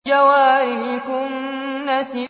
الْجَوَارِ الْكُنَّسِ